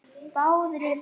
Það munaði litlu.